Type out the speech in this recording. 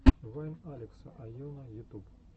вайн алекса айоно ютуб